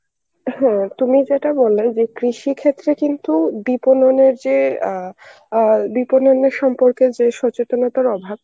হ্যাঁ তুমি যেটা বললে যে কৃষি ক্ষেত্রে কিন্তু বিপণনের যে অ্যাঁ অয় বিপননের সম্পর্কে যে সচেতনতার অভাব